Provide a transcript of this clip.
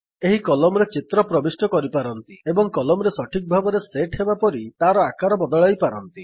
ଏହି କଲମରେ ଚିତ୍ର ପ୍ରବିଷ୍ଟ କରିପାରନ୍ତି ଏବଂ କଲମ୍ ରେ ସଠିକ୍ ଭାବରେ ସେଟ୍ ହେବାପରି ତାର ଆକାର ବଦଳାଇ ପାରନ୍ତି